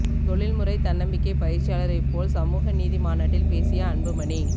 தொழில்முறை தன்னம்பிக்கை பயிற்சியாளரைப் போல் சமூக நீதி மாநாட்டில் பேசிய அன்புமணி